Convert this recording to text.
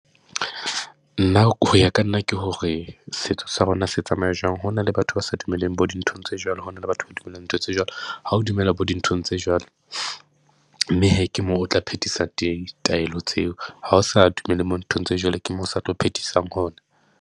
Nna ho ya ka nna ke hore setso sa rona se tsamaya jwang. Ho na le batho ba sa dumelleng bo dinthong tse jwalo, ho na le batho ba dumelang ntho tse jwalo. Ha o dumela bo dinthong tse jwalo, mme hee ke moo o tla phetisa taelo tseo. Ha o sa dumele mo nthong tse jwalo, ke mo sa tlo phethisa .